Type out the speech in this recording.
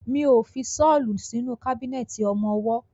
Mi ó fi ṣọ́lù sínú kábínẹ̀tì ọmọwọ́.